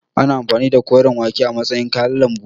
Ana amfani da koren wake a matsayin kayan lambu.